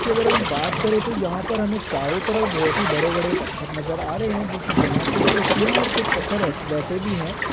अगर हम बात करे तो यहा पर हमे चारों तरफ बोहोत ही बड़े बड़े पत्थर नजर आ रहे है जो की जमा के भी रखे और कुछ पत्थर ऐस वैसे भी है ।